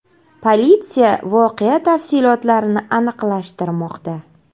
Politsiya voqea tafsilotlarini aniqlashtirmoqda.